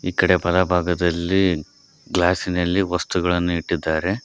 ಈ ಕಡೆ ಬಲ ಭಾಗದಲ್ಲಿ ಗ್ಲಾಸಿನಲ್ಲಿ ವಸ್ತುಗಳನ್ನು ಇಟ್ಟಿದ್ದಾರೆ.